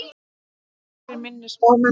Og nokkrir minni spámenn.